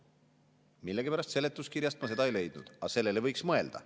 Millegipärast seletuskirjast ma seda ei leidnud, aga sellele võiks mõelda.